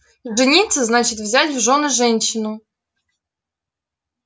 жениться значит взять в жёны женщину